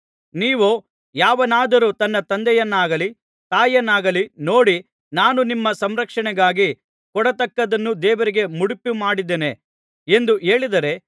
ನೀವೋ ಯಾವನಾದರೂ ತನ್ನ ತಂದೆಯನಾಗಲಿ ತಾಯಿಯನ್ನಾಗಲಿ ನೋಡಿ ನಾನು ನಿಮ್ಮ ಸಂರಕ್ಷಣೆಗಾಗಿ ಕೊಡತಕ್ಕದ್ದನ್ನು ದೇವರಿಗೆ ಮುಡಿಪುಮಾಡಿದ್ದೇನೆ ಎಂದು ಹೇಳಿದರೆ